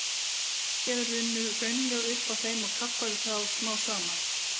Á hlýskeiðum runnu hraunlög upp að þeim og kaffærðu þá smám saman.